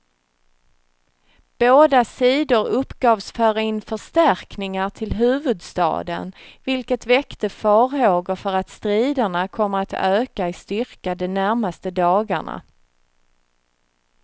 Båda sidor uppgavs föra in förstärkningar till huvudstaden, vilket väckte farhågor för att striderna kommer att öka i styrka de närmaste dagarna.